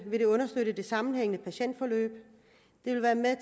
vil det understøtte det sammenhængende patientforløb det vil være med